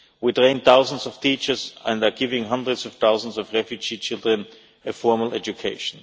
We have trained thousands of teachers, and they are giving hundreds of thousands of refugee children a formal education.